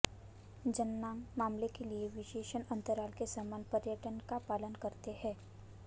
जननांग मामले के लिए विशेषण अंतराल के समान पैटर्न का पालन करते हैं